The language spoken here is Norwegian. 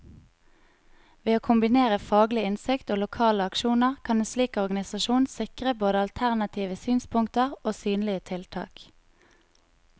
Ved å kombinere faglig innsikt og lokale aksjoner, kan en slik organisasjon sikre både alternative synspunkter og synlige tiltak.